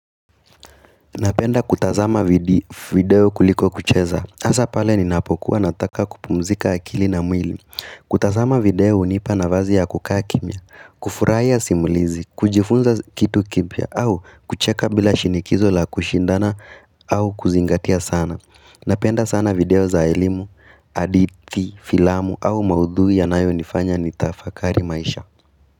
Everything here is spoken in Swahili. Napenda kutazama video kuliko kucheza, hasa pale ninapokuwa nataka kupumzika akili na mwili kutazama video hunipa na vazi ya kukakimia, kufuraya simulizi, kujifunza kitu kipya au kucheka bila shinikizo la kushindana au kuzingatia sana Napenda sana video za elimu, hadithi, filamu au maudhui yanayo nifanya ni tafakari maisha.